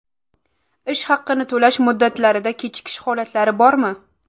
Ish haqini to‘lash muddatlarida kechikish holatlari bormi?